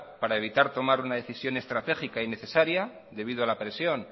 para evitar tomar una decisión estratégica y necesaria debido a la presión